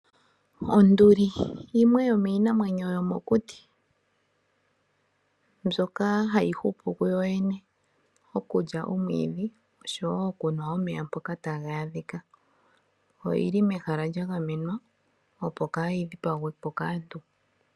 Onduli yimwe yomiinamwenyo yomokuti mbyoka hayi hupu kuyoyene mokulya omwiidhi oshowo okunwa omeya mpoka taga adhika. Oyi li mehala lya gamenwa, opo kaayi dhipagwe po kaantu.